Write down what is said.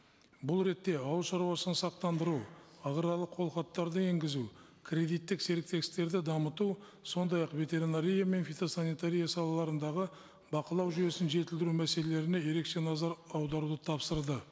бұл ретте ауыл шаруашылығын сақтандыру аграрлық қолхаттарды енгізу кредиттік серіктестіктерді дамыту сондай ақ ветеринария мен фитосанитария салаларындағы бақылау жүйесін жетілдіру мәселелеріне ерекше назар аударуды тапсырды